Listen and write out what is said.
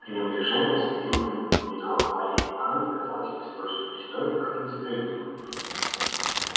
пренебрежение с каким он упоминал о марье ивановне казалось мне столь же непристойным как и несправедливым